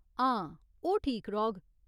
हां, ओह् ठीक रौह्ग।